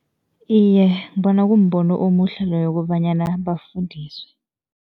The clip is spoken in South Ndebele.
Iye, ngibona kumbono omuhle loyo kobanyana bafundiswe.